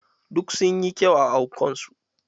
Duk sun yi kyau a anko su.